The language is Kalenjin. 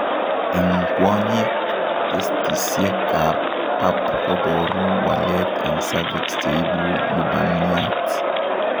Eng' kwonyik testisiek ab pap koboruu waleet eng cervix cheibu lubaniat